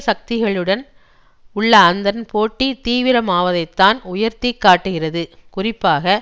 சக்திகழுடன் உள்ள அதன் போட்டி தீவிரமாவதைத்தான் உயர்த்தி காட்டுகிறதுகுறிப்பாக